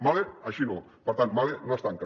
mahle així no per tant mahle no es tanca